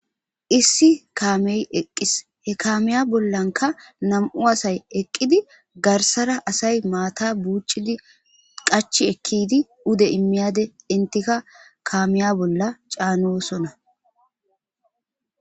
Issi kame eqqis he kamme bollakka nammu' assayi eqidi garsara assayi maaththa buccidi qachi eki yidi pude emiyade enttika kamiya bolla canossona.